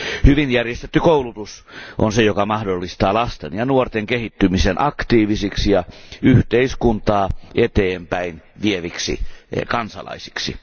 Hyvin järjestetty koulutus on se, joka mahdollistaa lasten ja nuorten kehittymisen aktiivisiksi ja yhteiskuntaa eteenpäin vieviksi kansalaisiksi.